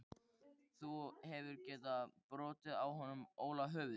Þú hefðir getað brotið á honum Óla höfuðið.